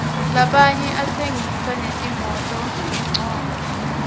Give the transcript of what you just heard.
lamanye atsengisa netimototincola